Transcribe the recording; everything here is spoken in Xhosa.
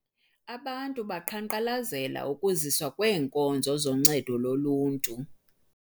Abantu baqhankqalazela ukuziswa kweenkonzo zoncedo loluntu.